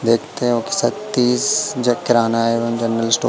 देखते हों कि सतीश जे किराना एवं जनरल स्टोर ।